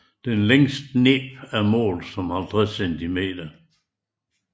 Det længste næb målt var 50 cm